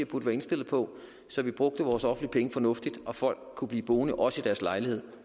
burde være indstillet på så vi brugte vores offentlige penge fornuftigt og folk kunne blive boende også i deres lejligheder